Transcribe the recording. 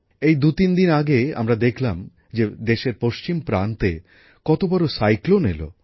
এই দুতিন দিন আগে আমরা দেখলাম যে দেশের পশ্চিম প্রান্তে কত বড় ঘূর্ণিঝড় এল